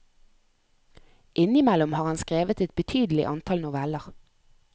Innimellom har han skrevet et betydelig antall noveller.